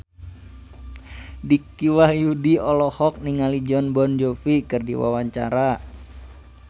Dicky Wahyudi olohok ningali Jon Bon Jovi keur diwawancara